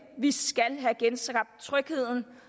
vi skal have genskabt trygheden